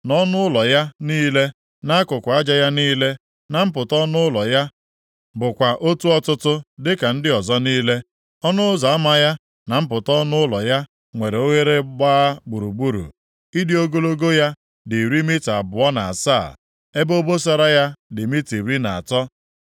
Nʼọnụ ụlọ ya niile, nʼakụkụ aja ya niile, na mpụta ọnụ ụlọ ya bụkwa otu ọtụtụ dịka ndị ọzọ niile. Ọnụ ụzọ ama ya na mpụta ọnụ ụlọ ya nwere oghere gbaa gburugburu. Ịdị ogologo ya dị iri mita abụọ na asaa, ebe obosara ya dị mita iri na atọ.